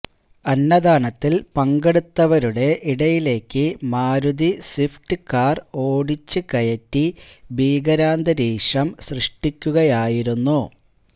അന്നദാനത്തിൽ പങ്കെടുത്തവരുടെ ഇടയിലേക്ക് Maruti Swift car ഓടിച്ച് കയറ്റി ഭീകരാന്തരീക്ഷം സൃഷ്ടിക്കുകയായിരുന്നു